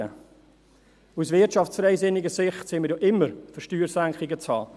Aus wirtschaftsfreisinniger Sicht sind wir ja immer für Steuersenkungen zu haben.